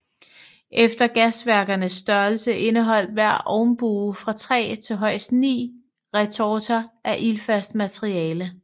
Efter gasværkernes størrelse indeholdt hver ovnbue fra 3 til højst 9 retorter af ildfast materiale